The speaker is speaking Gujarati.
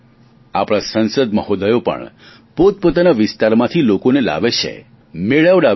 આપણા સાંસદ મહોદયો પણ પોતપોતાના વિસ્તારમાંથી લોકોને લાવે છે મુલાકાત કરાવે છે